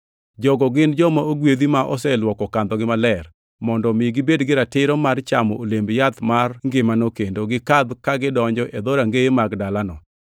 “Jogo gin joma ogwedhi ma oseluoko kandhogi maler, mondo omi gibed gi ratiro mar chamo olemb yath mar ngimano kendo gikadh ka gidonjo e dhorangeye mag dalano.